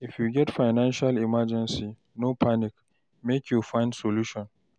If you get financial emergency, no panic, make you find solution.